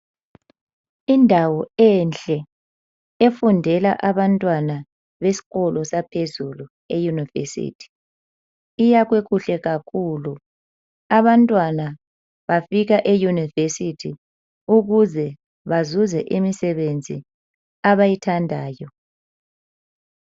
Indawo enhle efundela abantwana besikolo saphezulu eyunivesithi. Iyakhwe kuhle kakhulu abantwana bafika eyunivesithi ukuze bazuze imisebenzi abayithandayo.